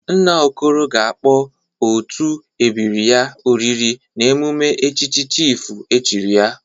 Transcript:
Nna Okoro ga-akpọ otu ebiri ya oriri n'emume echichi chịfụ echiri ya..